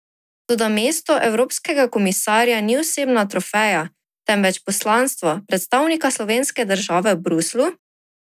Toda mesto evropskega komisarja ni osebna trofeja, temveč poslanstvo predstavnika slovenske države v Bruslju?